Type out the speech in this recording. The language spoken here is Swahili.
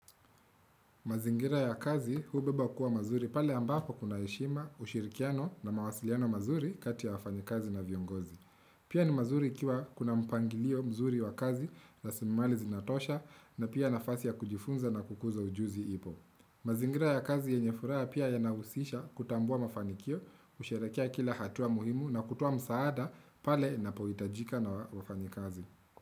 Mazingira ya kazi hubeba kuwa mazuri pale ambapo kuna heshima ushirikiano na mawasiliano mazuri kati ya wafanikazi na viongozi. Pia ni mazuri ikiwa kuna mpangilio mzuri wa kazi rasilimali zinatosha na pia nafasi ya kujifunza na kukuza ujuzi ipo. Mazingira ya kazi yenye furaya pia yanahusisha kutambua mafanikio, usherakia kila hatua muhimu na kutua msaada pale inapoitajika na wafanikazi.